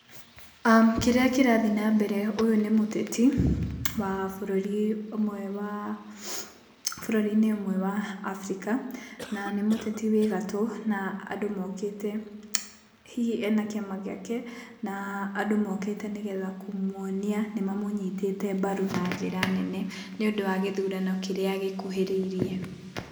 Kĩrĩa kĩrathiĩ na mbere, ũyũ nĩ mũteti wa bũrũri ũmwe wa Africa na nĩ mũteti wĩ gatũ na andũ mokĩte, hihi ena kĩama gĩake na andũ mokĩte nĩ getha kũmuonia nĩ mamũnyitĩte mbaru na njira nene nĩ ũndũ wa gĩthurano kĩnene kĩrĩa gĩkuhĩrĩirie.